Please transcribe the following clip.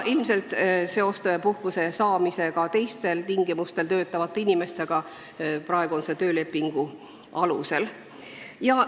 Ilmselt seostatakse puhkuse saamine ka teistel tingimustel töötavate inimestega, praegu võimaldatakse seda töölepingu olemasolu korral.